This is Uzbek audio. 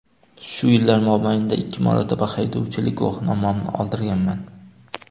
Shu yillar mobaynida ikki marotaba haydovchilik guvohnomamni oldirganman.